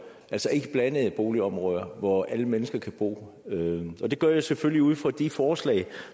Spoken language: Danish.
altså ikke blandede boligområder hvor alle mennesker kan bo og det gør jeg selvfølgelig ud fra de forslag